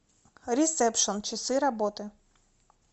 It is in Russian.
ресепшн часы работы